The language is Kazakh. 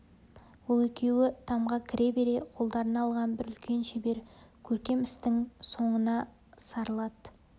ол екеуі тамға кіре бере қолдарына алған бір үлкен шебер көркем істің соңына сарылады